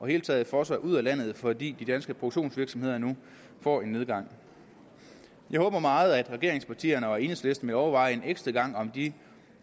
hele taget fosser ud af landet fordi de danske produktionsvirksomheder nu får en nedgang jeg håber meget at regeringspartierne og enhedslisten vil overveje en ekstra gang om de